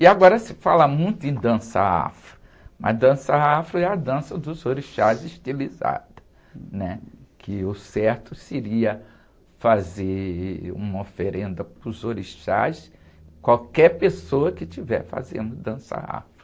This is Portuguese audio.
E agora se fala muito em dança afro, mas dança afro é a dança dos orixás estilizada, né? Que o certo seria fazer uma oferenda para os orixás, qualquer pessoa que estiver fazendo dança afro.